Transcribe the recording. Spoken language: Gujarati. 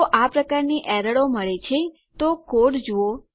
જો આ પ્રકારની એરરો મળે છે તો કોડ જુઓ